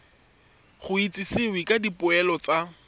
go itsisiwe ka dipoelo tsa